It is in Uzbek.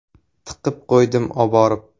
Tiqib qo‘ydim oborib.